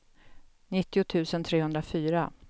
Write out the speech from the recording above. nittio tusen trehundrafyra